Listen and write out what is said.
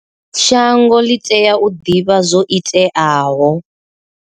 Shango ḽi tea u ḓivha zwo iteaho.